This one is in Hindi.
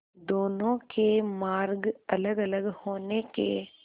दोनों के मार्ग अलगअलग होने के